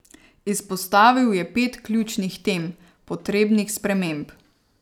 Izpostavil je pet ključnih tem, potrebnih sprememb.